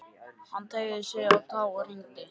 Hún teygði sig á tá og hringdi.